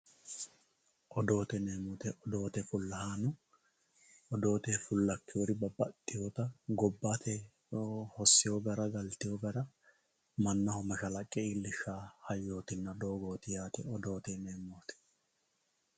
Odootte yineemo woyite odoote fulahanno odoote fulakewori gobbte hosewo gara galitewo gara manaho mashallaqe iillishawo hayyoti, doogoti yaate odootte yineemoti